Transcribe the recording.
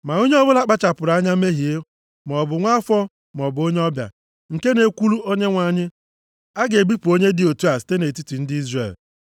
“ ‘Ma onye ọbụla kpachapụrụ anya mehie, maọbụ nwa afọ maọbụ onye ọbịa, nke na-ekwulu Onyenwe anyị, a ga-ebipụ onye dị otu a site nʼetiti ndị Izrel.